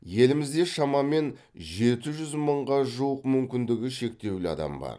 елімізде шамамен жеті жүз мыңға жуық мүмкіндігі шектеулі адам бар